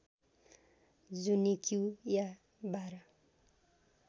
जुनिक्यु या १२